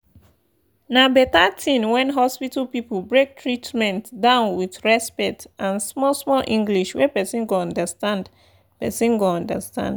na better thing when hospital people break treatment down with respect and small-small english wey person go understand. person go understand.